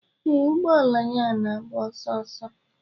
Ee, ụgbọ ala ya na-agba ọsọ ọsọ.